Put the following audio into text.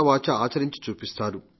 వాచా ఆచరించి చూపిస్తారు